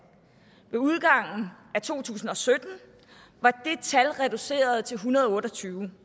ved udgangen af to tusind og sytten var det tal reduceret til en hundrede og otte og tyve